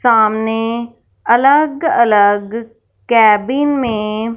सामने अलग अलग केबिन में--